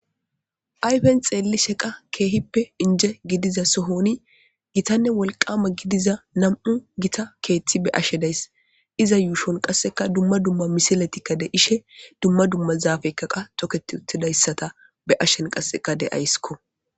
ayfen xeelli sheqa keehippe inje gidiza sohoni gitanne wolqama gidiza nam7u gita keeththi be ashe days iza yuushon qasseka dumma dumma misiletikka de ishe dumma dumma zaafeykka qa tokettidayssata be ashen qasseka deayskko